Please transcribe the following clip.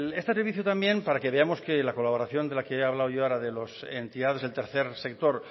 este servicio también para que veamos que la colaboración de la que he hablado yo ahora de las entidades del tercer sector